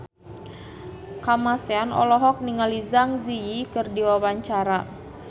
Kamasean olohok ningali Zang Zi Yi keur diwawancara